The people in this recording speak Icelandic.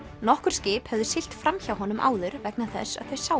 nokkur skip höfðu siglt fram hjá honum áður vegna þess að þau sáu